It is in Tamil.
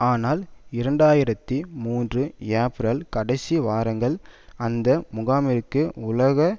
ஆனால் இரண்டு ஆயிரத்தி மூன்று ஏப்ரல் கடைசி வாரங்கல் அந்த முகாமிற்கு உலக